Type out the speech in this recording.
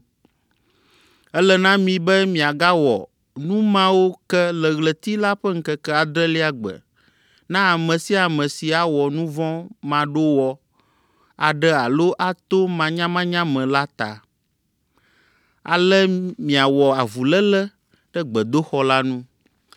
Ele na mi be miagawɔ nu mawo ke le ɣleti la ƒe ŋkeke adrelia gbe na ame sia ame si awɔ nu vɔ̃ maɖowɔ aɖe alo ato manyamanya me la ta. Ale miawɔ avuléle ɖe gbedoxɔ la nu.